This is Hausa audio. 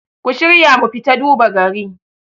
ku shirya mu fita duba gari